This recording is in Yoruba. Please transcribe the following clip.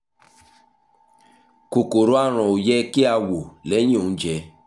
kòkòrò aràn ó yẹ kí a wò ó lẹ́yìn oúnjẹ